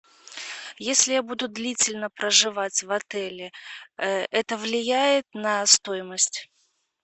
если я буду длительно проживать в отеле это влияет на стоимость